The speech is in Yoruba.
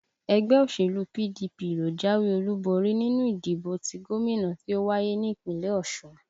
Ẹgbẹ́ òṣèlú PDP ló jáwé olúborí nínú ìdìbò ti gómìnà tí ó wáyé ní Ìpínlẹ̀ Ọ̀ṣun